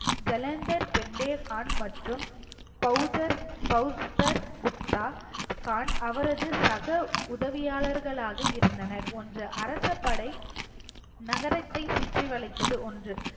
ஜலந்தர் பெண்டே கான் மற்றும் பௌத்தர் புத்தா கான் அவரது சக உதவியாளர்களாக இருந்தனர் ஒன்று அரசபடை நகரத்தை சுத்தி வளைத்து ஒன்று